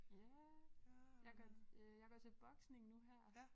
Ja jeg går øh jeg går til boksning nu her